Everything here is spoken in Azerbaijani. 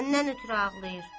Səndən ötrü ağlayır.